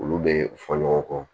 Olu bɛ fɔ ɲɔgɔn kɔ